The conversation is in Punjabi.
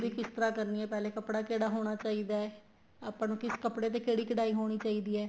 ਵੀ ਕਿਸ ਤਰ੍ਹਾਂ ਕਰਨੀ ਹੈ ਪਹਿਲੇ ਕੱਪੜਾ ਕਿਹੜਾ ਹੋਣਾ ਚਾਹੀਦਾ ਏ ਆਪਾਂ ਨੂੰ ਕਿਸ ਕੱਪੜੇ ਤੇ ਕਿਹੜੀ ਕਢਾਈ ਹੋਣੀ ਚਾਹੀਦੀ ਹੈ